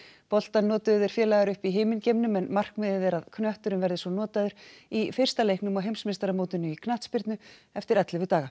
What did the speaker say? boltann notuðu þeir félagar uppi í himingeimnum en markmiðið er að knötturinn verði svo notaður í fyrsta leiknum á heimsmeistaramótinu í knattspyrnu eftir ellefu daga